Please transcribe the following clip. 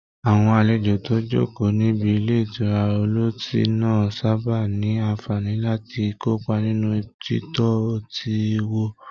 Àwọn àlejò tó ń jókòó níbi ilé ìtura ọlọ́tí máa ń sábà ní àǹfààní láti kópa nínú títọ́ ọtí wò